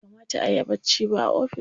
Bai kamata ayi bacci ba a ofis.